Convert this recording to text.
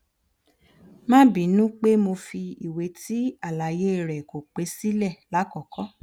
ma binu pe mo fi iwe ti alaye re ko pe sile lakoko